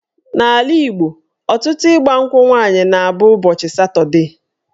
N'ala Igbo, ọtụtụ ịgbankwụ nwaanyị na-abụ ụbọchị Satọdee